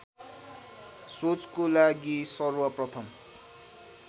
सोचको लागि सर्वप्रथम